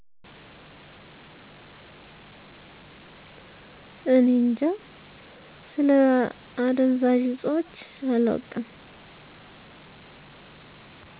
እኔ እጃ ስለ አደዛዥ እፆች አላውቅም